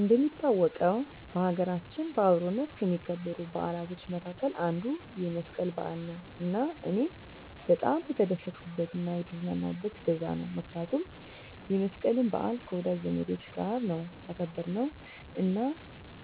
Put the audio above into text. እንደሚታወቀው በሀገራችን በአብሮነት ከሚከበሩ በዓላቶች መካከል አንዱ የመስቀል በዓል ነው እና እኔም በጣም የተደሰትኩበት እና የተዝናናሁበት በዛ ነው ምክንያቱም የመስቀልን በዓል ከወዳጅ ዘመዶቻች ጋር ነው ያከበርነው እና